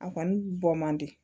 A kɔni bɔ man di